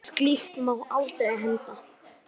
Og slíkt má aldrei henda.